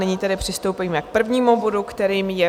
Nyní tedy přistoupíme k prvnímu bodu, kterým je